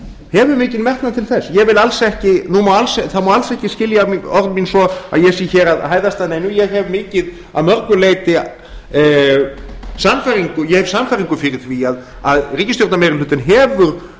hefur mikinn metnað til þess það má alls ekki skilja orð mín svo að ég sé að hæðast að neinu ég hef sannfæringu fyrir því að ríkisstjórnarmeirihlutinn hefur